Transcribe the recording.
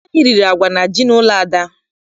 Anyị riri agwa na ji n'ụlọ Ada.